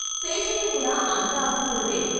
శేషయ్య కూడా అంత అస్తిపరుడే.